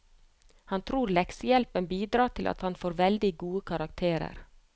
Han tror leksehjelpen bidrar til at han får veldig gode karakterer.